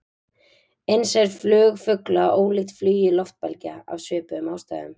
Eins er flug fugla ólíkt flugi loftbelgja, af svipuðum ástæðum.